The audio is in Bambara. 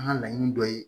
An ka laɲini dɔ ye